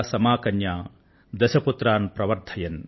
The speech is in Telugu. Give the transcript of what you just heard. సమా కన్యా దశ పుత్రాన్ ప్రవర్థయన్